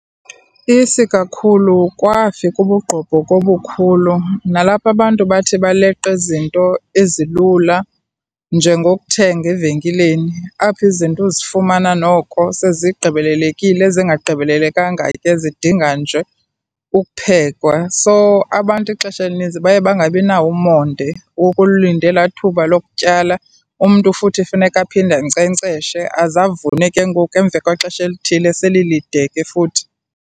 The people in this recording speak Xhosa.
Isikakhulu kwafika ubugqobhoka obukhulu nalapho abantu bathi baleqe izinto ezilula njengokuthenga evenkileni, apho izinto uzifumana noko sezigqibelelekile, ezingagqibelelekanga ke zidinga nje ukuphekwa. So, abantu ixesha elininzi baye bangabinawo umonde wokulinda elaa thuba lokutyala, umntu futhi funeka aphinde ankcenkceshe aze avune ke ngoku emva kwexesha elithile selilide ke futhi.